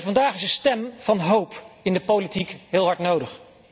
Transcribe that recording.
Vandaag is een stem van hoop in de politiek heel hard nodig.